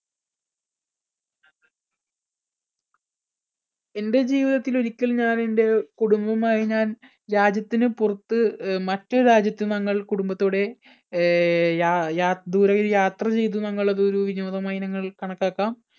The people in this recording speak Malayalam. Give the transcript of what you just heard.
എൻടെ ജീവിതത്തിൽ ഒരിക്കൽ ഞാൻ എൻടെ കുടുംബമായി ഞാൻ രാജ്യത്തിന് പുറത്ത് മറ്റൊരു രാജ്യത്ത് ഞങ്ങൾ കുടുംബത്തോടെ അഹ് യാ ദൂരെയായി യാത്ര ചെയ്തു നിങ്ങൾ അതൊരു വിനോദമായി നിങ്ങള്‍ കണക്കാക്കാം.